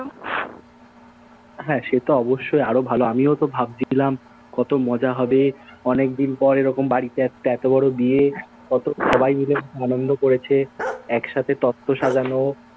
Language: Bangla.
হ্যাঁ, সে তো অবশ্যই আরও ভালো। আমিও তো ভাবছিলাম কতো মজা হবে, অনেকদিন পর এরকম বাড়িতে একটা এতো বড় বিয়ে, কত সবাই মিলে খুব আনন্দ করেছে, এক সাথে তত্ব সাজানো,